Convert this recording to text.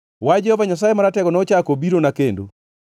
Wach Jehova Nyasaye Maratego nochako obirona kendo.